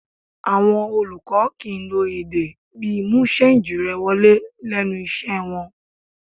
Àwọn olùkọ́ kìí lo èdè bíi 'mú sáǹjì rẹ wọlé' lẹ́nu iṣẹ́ wọn